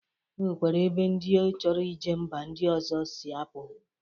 O nwekwere ebe ndi chọrọ ije mba ndi ọzọ si apụ